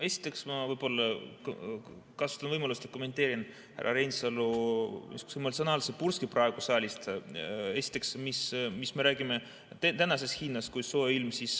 Esiteks, ma kasutan võimalust ja kommenteerin härra Reinsalu niisugust emotsionaalset purset praegu saalist, et mis me räägime tänasest hinnast, kui on soe ilm.